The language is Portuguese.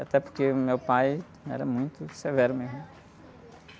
Até porque meu pai era muito severo mesmo.